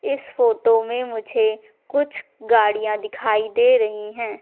इस फोटो में मुझे कुछ गाड़ियाँ दिखाई दे रहीं हैं।